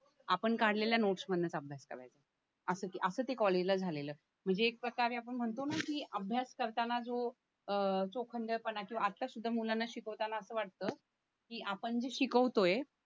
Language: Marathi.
आपण काढलेल्या नोट्स मधनंच अभ्यास करायचं असं ते असं ते कॉलेजला झालेलं म्हणजे एक प्रकारे आपण म्हणतो ना की अभ्यास करताना जो अं जो आता सुद्धा मुलांना शिकवताना अस वाटतं की आपण जे शिकवतोय